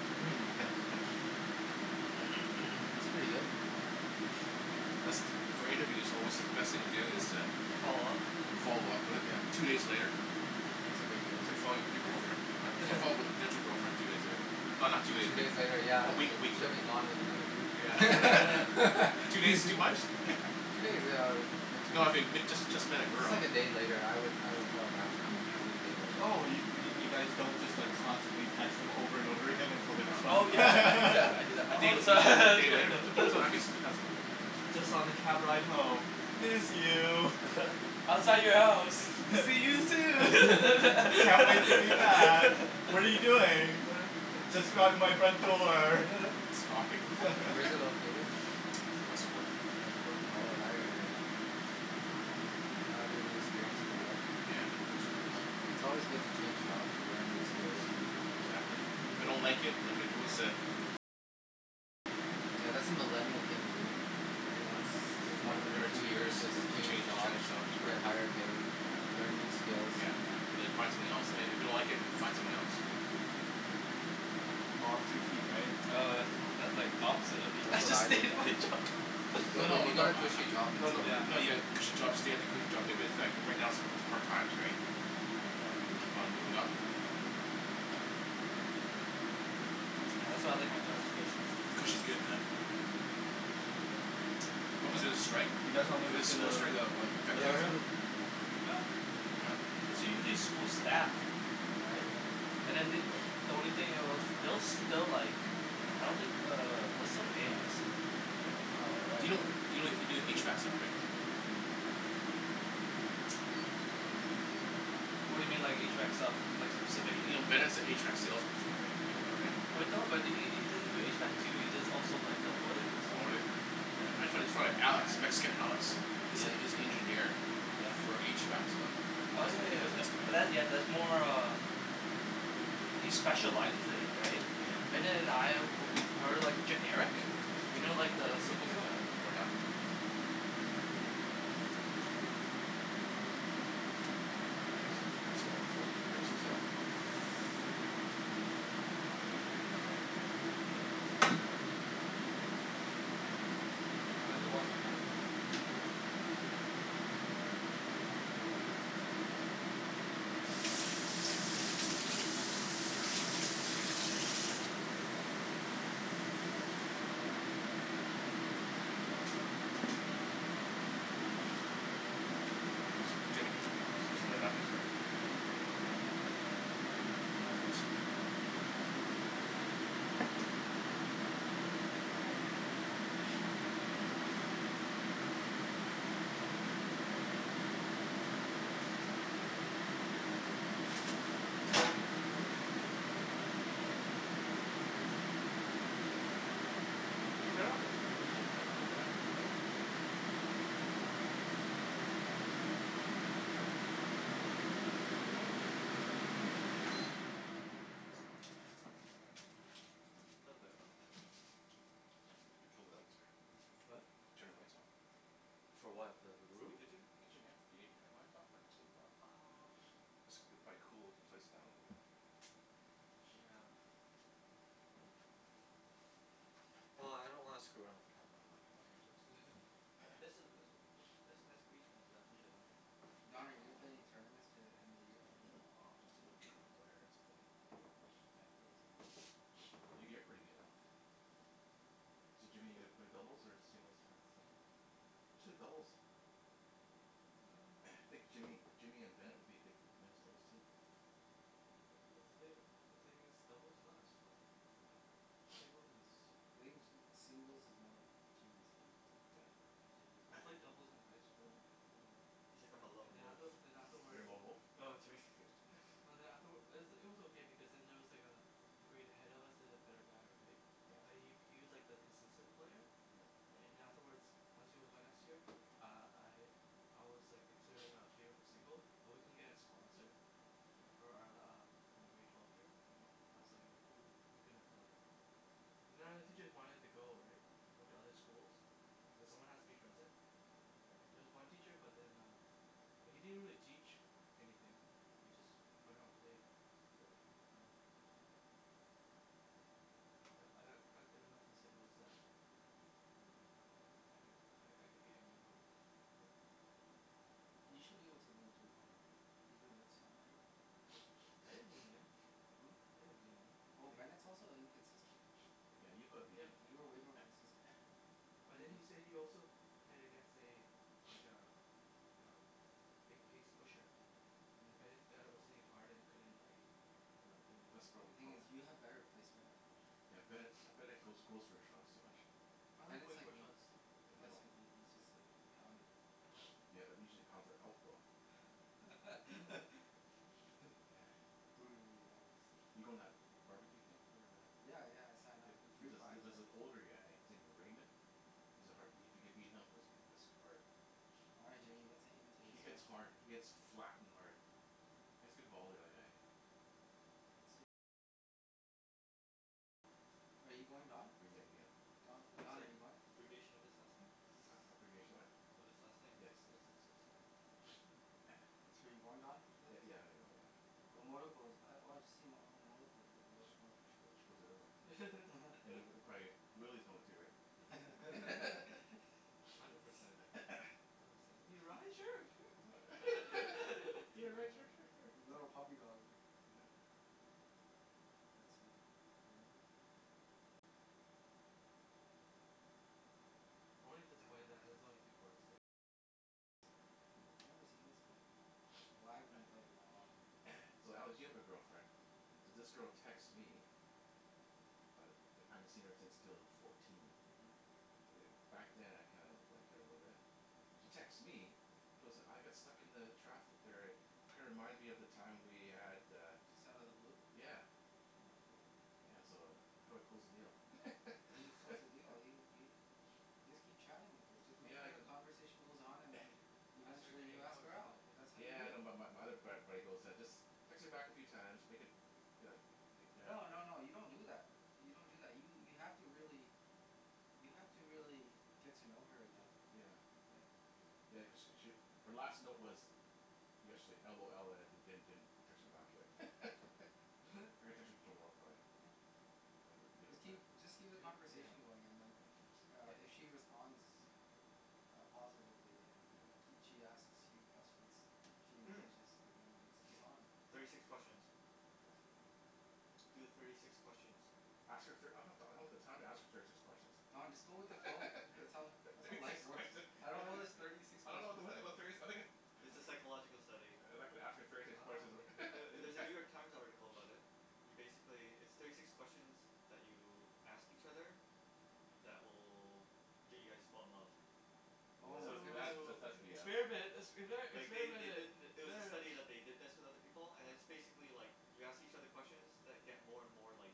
Hmm That's pretty good. For interview it's alway the best thing to do is to follow-up with it Yeah two days later. that's a big deal. It's like following up with your girlfriend right follo- followup with a potential girlfriend two days later not not two days Two days later later year a uh uh week a week she'll later. be gone with another dude. Yeah. Two days too much? No I fig- if you just just met a Just girl. like a day later I would I would call her back if I'm interested a day later. Oh yo- you mean you guys don't just like constantly text them over and over again until they respond? No Oh yeah I do no. that I do that A day all the a day later time. depends I guess it depends on the woman I guess right. Just on the cab ride home, "Miss you". I don't know "Outside man. your house see you soon". "Can't wait to hear you back. What are you doing"? "Just around out my front door." Stalking. Where's it located? It's west fourth. West fourth oh that area eh? That'll be anew experience for you eh? Yeah hear it's nice. It's alway good to change jobs you learn new skills and meet new people. Exactly. If I don't like it I can always uh Yeah that's a millennial thing to do ever once Too one or Every millennial. two two years year just just change change change jobs. jobs you for, get higher pay yeah, learn new skills. yeah And then you find something else and and if you don't like it find something else. Yeah. Ah too cute right? Oh that- that's like opposite of That's what the I did. of what I do. No No but you no. got a cushy job. No no, no you have Yeah. a cushy job stay at the cushy job but but that right right now it's hard times right. Keep on moving up. Yeah that's why I like my job its cushy. Cushy's good man. What was the Um strike you guys want to the school the strike that that um effected Yeah you living let's right? room? move. Yup. Hmm? It's usually school staff. Hmm Right and then they the only thing else they- they'll like I don't think uh they'll still pay us. Hmm All Do right. you kno- you can do HVAC stuff right? What do you mean like HVAC stuff? Like Yo- specifically. you know Bennett's an HVAC sales person right? You know that right? But no but he he he doesn't do HVAC too he does also like the boilers and Oh stuff. really? I don't My Yeah. think, frie- friend hey Alex, guys Mexican we should Alex, move in here. is Yeah. is the engineer. Yeah. I don't For think they like us HVAC very stuff. much. He Oh does and he yeah does No yeah estimate. but that's yeah they're that's uh more caught uh between us he and their specializes conversation. in it right? Bennet and I we- we're like generic you know like the So Gimme gimme Jen simplify. told me you guys are the hiring and I was almost tempted to apply. Why don't you? It would be awesome. uh That's a four rinse this off. Though, I don't know if you want to say it on camera. It's um that's fine I mean I'm I didn't maybe wash I my need a hands. few more months of stability Hmm like maybe four more months you guys yeah and it's kinda hard to leave right now cause the company's going through a tough time Ah that's fair. Yeah Jimmy ca- can I I have some thought more that's the napkins best time to leave. No. Um so I know we're gonna weather the storm. uh-huh And it'll be it'll look really good if I stay and its also pay cut. Oh. Yeah but it's it's tempting because the Did you turn job of- is so should we just interesting. turn off the fan for the hood? Yeah Oh yes yeah I please. just told you him that. guys travel everywhere that's awesome. I don't. I- is that a choice or you're Umm stuck to a project? I think umm a little bit of both actually. Hmm Kill the lights or? What? Turn the lights off? For what the the Oh the room? kitchen? Kitchen yeah. You need to turn the lights off or just leave it on? Umm this it'll cool the place down a little bit. Yeah. If I can. Well I don't want to screw around with the camera the lighting, so Okay I'm jus- just just leave gonna it leave it. And this this then. was there's a nice breeze coming through that Yup window. yeah. Don are you gonna play in any tournaments to the end of the year? Nah I'm not not good of a player that's the thing Yeah I feel the same way. yo- you're pretty good Alex. So Jimmy your gonna play singles or doubles tournament? Singles. You should play doubles. hmm I think Jimmy Jimmy and Bennet would be a good men's doubles team. Uh uh the thin- the thing is doubles is not as fun. oh Singles is. I think ju- singles is more Jimmy's game. Yeah. Yeah Jimmy's I played doubles in high school yeah. uh He's like "I'm a and lone then wolf". after then uh-huh. You're afterwards a lone wolf? dah. No Jimmy No then afterw- it was it was okay because then there was like uh a grade ahead of us there's a better guy right Yeah. but he he was like the consistent player Yeah. right and then afterwards once he was gone next year uh I I was like the clear uh favor for single but we couldn't get a sponsor right for our uh for my grade twelve year uh-huh. that's was like oh we couldn- we couldn't play cuz none of the teachers wanted to go right went to other schools cuz someone has to be present there was one teacher but then uh but he didn't really teach anything we just went out and played. Really? Yeah yeah but I I got good enough in singles that um I could I I could beat anybody for so. Yea- you should be able to win three point o even with sandbagger Bennet bet play. didn't win. Hmm? Bennet didn't win Oh and he. Bennet's also inconsistent. yeah you'll probably beat Yeah Yeah Bennet b- you're way more consistent. but then he say he also played against a like a a big pace pusher uh-huh. and then Bennet uh was hitting hard and he couldn't like uh do That's the anything The proble- thing hum eh? is you have better placement as well. yeah Yeah. Bennet Bennet goes goes for shots too much. Yeah. I like Bennet's going like for me. shots too though. Yeah but Bennet's don't. like me he just uh pound it. Yeah usually he's pounds it out though. Brutally honest. you goin- to that bar-b-que thing for the? Yeah yeah I signed Jup up it for the it free prize jus- just right. an older guy his name is Raymond.. uh-huh. He's a har- if you can beat him that's goo- that's hard All right he Jimmy he, let's aim to he hits smoke. hard, he hits flat and hard. Hm. He has a good volley the other guy. Are you going Don? Renege again. Uh Don, that's Don are you going? abbreviation of his last name. A- abbreviation of what? Of his last name. Yes, yes yes yes. So you're going Don for Yeah this? yeah I'm gonna go yeah. Oh I've oh I've seen oh here whoever's going for sure. She goes everywhere. And then prob- probably Willy's going to right because. Hundred percent. you need a ride sure sure. You wanna a ride sure li- sure sure sure. little puppy dog ri- Yeah. Let's see Raymond. Hmm. I've never seen this guy. Why I haven't been playing that long and. So Alex you have a girlfriend. So this girl texts me I I haven't seen her since two thousand and fourteen uh-huh. uh back then I kinda liked her a little bit she texts me Mm. you know so I got stuck in the traffic there eh kinda reminds me of the time we had uh Just outta the blue? yeah Oh cool. yeah so uh how do I close the deal? How do you close the deal? Do you do you- You just keep chatting with her just make Yeah I sure the cu- conversation goes on and then you Ask her to eventually hangout ask or her out, something that's yeah. how you Yeah do I know it. bu- but my other frat buddy goes just text her back a few time make it you know the th- No no no you don't do that do- you don't do that you have to really you have to really get to know her again. Yeah. Yeah. Yeah cause she sh- her last note was yesterday LOL and I didn- didn't text her back yet I'm What? gonna text her tomorrow probably Yeah. and leave leave it Just at that keep just keep the do yeah conversation going and then yeah keep it uh get if she responds uh positively and yeah kee- she asks you questions she Umm engages then that means it's on thirty Don six questions what? Do the thirty six questions. Ask her thir- I don- I don't have the time to ask her thirty six Oh questions Don just go with the Oh flow that's all that's thirty how six life works questions I I don't don't know this thirty six I don't know questions abo- thing about thirty si- yeah I'm gonna It's a psychological study. Uh I'm not gonna ask her thirty six I questions wh- don't know. Ther- there's a New York Times article about it. You basically, there's thirty six questions that you ask each other that will get you guys to fall in love. Yeah Oh my So goodness. that's that's Oh that's BS experiment expe- Like they experiment they did it th- it was a experiment. study that they did this with other people and it's yeah basically like you ask each other questions that get more and more like